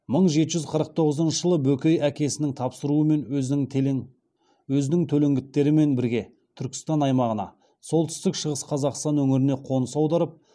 мың жеті жүз қырық тоғызыншы жылы бөкей әкесінің тапсыруымен өзінің төлеңгіттерімен бірге түркістан аймағынан солтүстік шығыс қазақстан өңіріне қоныс аударып